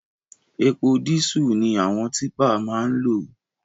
Epo dísù ni àwọn típà máa ń lò